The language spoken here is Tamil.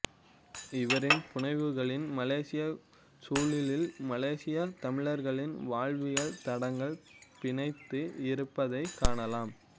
இவரின் புனைவுகளில் மலேசியச் சூழலில் மலேசியத் தமிழர்களின் வாழ்வியல் தடங்கள் பிணைந்து இருப்பதைக் காணலாம்